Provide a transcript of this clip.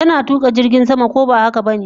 Tana tuka jirgin sama, ko ba haka bane?